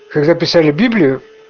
когда писали библию